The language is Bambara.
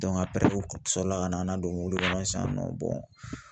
u sɔrɔ la ka na an nadon kɔnɔ sisan nɔ